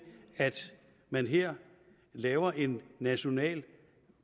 at man her laver en national